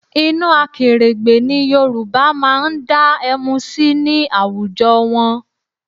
Inú akèrègbè ni Yorùbá máa ń dá ẹmu sí ní àwùjọ wọn